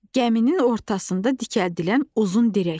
Gəminin ortasında dikəldilən uzun dirək.